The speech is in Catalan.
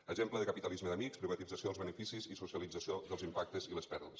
l’exemple de capitalisme d’amics privatització dels beneficis i socialització dels impactes i les pèrdues